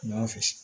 N'i y'a fosi